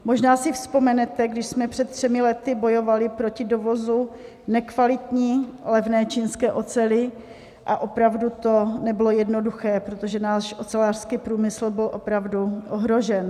Možná si vzpomenete, když jsme před třemi lety bojovali proti dovozu nekvalitní, levné čínské oceli, a opravdu to nebylo jednoduché, protože náš ocelářský průmysl byl opravdu ohrožen.